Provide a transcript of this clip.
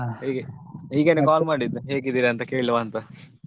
ಹೇಗೆ ಹೀಗೆನೇ call ಮಾಡಿದ್ದು ಹೇಗಿದ್ದೀರಾ ಅಂತ ಕೇಳುವ ಅಂತ.